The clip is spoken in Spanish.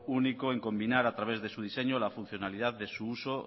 único en combinar a través de diseño la funcionalidad que su uso